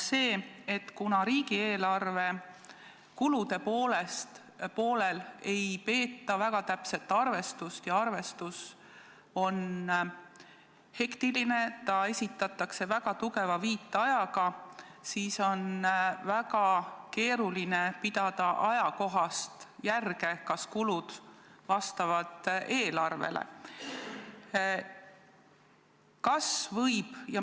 See on asjaolu, et kuna riigieelarve kulude poolel ei peeta väga täpset arvestust ja arvestus on hektiline, see esitatakse märkimisväärse viitajaga, siis on väga keeruline pidada ajakohast järge, kas kulud vastavad eelarvele.